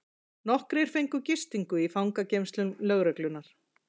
Nokkrir fengu gistingu í fangageymslum lögreglunnar